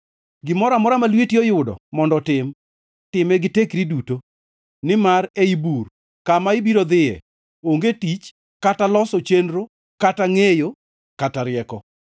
Gimoro amora ma lweti oyudo mondo otim, time gi tekri duto, nimar ei bur, kama ibiro idhiyoe, onge tich kata loso chenro kata ngʼeyo kata rieko.